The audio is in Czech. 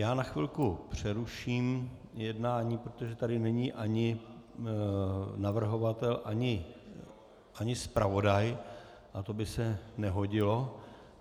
Já na chvilku přeruším jednání, protože tady není ani navrhovatel ani zpravodaj a to by se nehodilo.